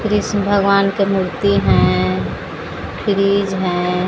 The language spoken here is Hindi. कृष्ण भगवान की मूर्ति है फ्रिज है।